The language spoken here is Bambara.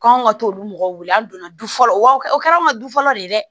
K'anw ka t'olu mɔgɔ wele an donna du fɔlɔ wa o kɛra an ka du fɔlɔ de ye dɛ